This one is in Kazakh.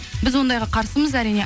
біз ондайға қарсымыз әрине